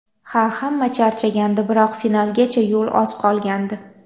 Ha, hamma charchagandi, biroq finalgacha yo‘l oz qolgandi.